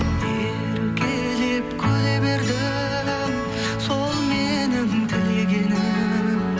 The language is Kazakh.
еркелеп күле бердің сол менің тілегенім